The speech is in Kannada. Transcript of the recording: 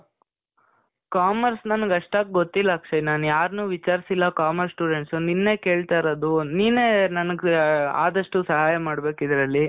commerce ನನಿಗ್ ಅಷ್ತಾಗ್ ಗೊತ್ತಿಲ್ಲ ಅಕ್ಷಯ್. ನಾನ್ ಯಾರ್ನೂ ವಿಚಾರ್ಸಿಲ್ಲ commerce students. ನಿನ್ನೇ ಕೇಳ್ತಾ ಇರೋದು. ನೀನೇ ನನಿಗೆ ಆದಷ್ಟು ಸಹಾಯ ಮಾಡ್ಬೇಕು ಇದ್ರಲ್ಲಿ.